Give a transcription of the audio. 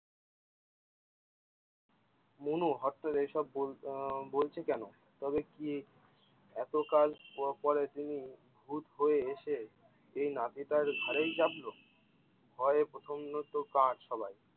মনু করে এইসব আহ বলছে কেন? তবে কি এতকাল পরে তিনি ভূত হয়ে এসে এ নাতিটার ঘাড়েই চাপলো ? ভয়ে প্ৰচণ্ড কাত সবাই!